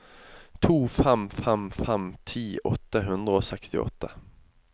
to fem fem fem ti åtte hundre og sekstiåtte